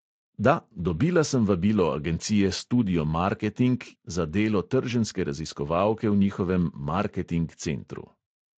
Da, dobila sem vabilo agencije studio marketing za delo trženjske raziskovalke v njihovem marketing centru.